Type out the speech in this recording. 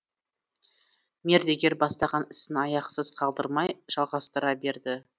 мердігер бастаған ісін аяқсыз қалдырмай жалғастыра берді